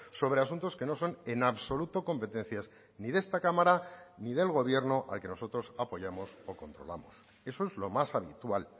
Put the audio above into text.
sobre asuntos que no son en absoluto competencias ni de esta cámara ni del gobierno al que nosotros apoyamos o controlamos eso es lo más habitual